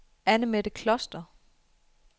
Anne-Mette Kloster